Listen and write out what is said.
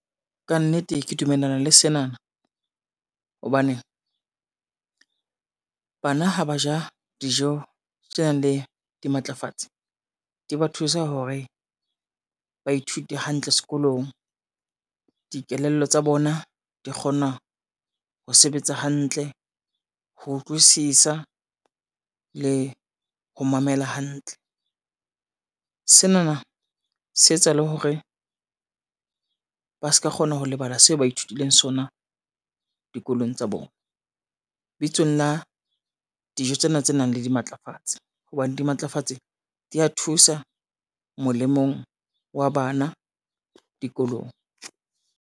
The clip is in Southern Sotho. Ka nnete ke dumellana le sena na hobane, bana ha ba ja dijo tse nang le dimatlafatsi di ba thusa hore ba ithute hantle sekolong. Dikelello tsa bona di kgona ho sebetsa hantle, ho utlwisisa le ho mamela hantle. Sena na se etsa le hore ba ska kgona ho lebala seo ba ithutileng sona dikolong tsa bona. Bitsong la dijo tsena tse nang le dimatlafatsi hobane dimatlafatsi dia thusa molemong wa bana dikolong.